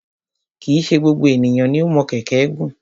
Kì í ṣe gbogbo ènìyàn ni o mọ kẹ̀kẹ́ gùn.